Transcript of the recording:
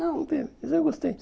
Não não teve, mas eu gostei.